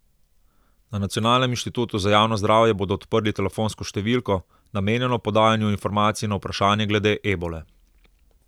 Na nacionalnem inštitutu za javno zdravje bodo odprli telefonsko številko, namenjeno podajanju informacij na vprašanja glede ebole.